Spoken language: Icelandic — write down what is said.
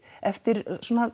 eftir